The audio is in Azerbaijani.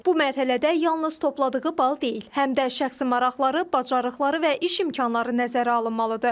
Bu mərhələdə yalnız topladığı bal deyil, həm də şəxsi maraqları, bacarıqları və iş imkanları nəzərə alınmalıdır.